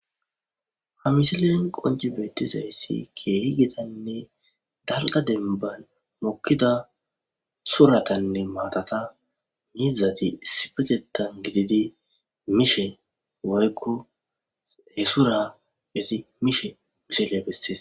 ha misilen qonci beettizayssi keehi gidanne darqa denban mokkida suratanne maatata mizati sipetetan gididi mishe woykko he sura izi mishe misile bessees